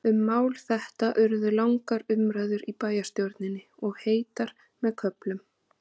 Um mál þetta urðu langar umræður í bæjarstjórninni, og heitar með köflum.